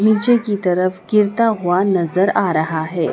नीचे की तरफ गिरता हुआ नजर आ रहा है।